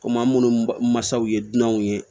Komi an minnu mansaw ye dunanw ye